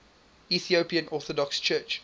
ethiopian orthodox church